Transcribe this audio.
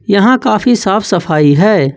यहां काफी साफ सफाई है।